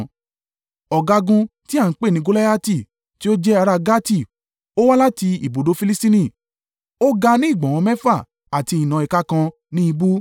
Ọ̀gágun tí a ń pè ní Goliati, tí ó jẹ́ ará Gati, ó wá láti ibùdó Filistini. Ó ga ní ìgbọ̀nwọ́ mẹ́fà àti ìnà ìka kan ní ìbú.